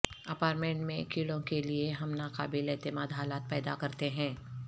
apartment میں کیڑوں کے لئے ہم ناقابل اعتماد حالات پیدا کرتے ہیں